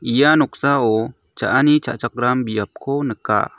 ia noksao cha·ani cha·chakram biapko nika.